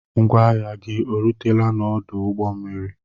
Ngwa ahịa gị erutela n'odu ụgbọ mmiri?